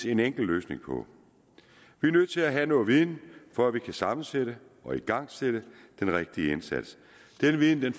en enkel løsning på vi er nødt til at have noget viden for at vi kan sammensætte og igangsætte den rigtige indsats den viden